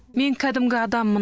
мен кәдімгі адаммын